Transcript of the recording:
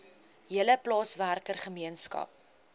hele plaaswerker gemeenskap